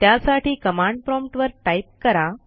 त्यासाठी command prompt वर type करा